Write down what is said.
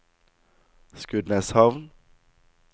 Skudeneshavn